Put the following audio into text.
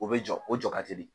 O bɛ jɔ o jɔ ka teli.